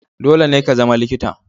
Dole ne ka zama likita.